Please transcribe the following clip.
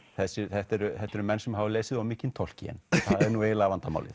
þetta eru þetta eru menn sem hafa lesið of mikinn Tolkien það er nú eiginlega vandamálið